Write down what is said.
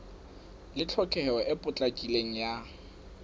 le tlhokeho e potlakileng ya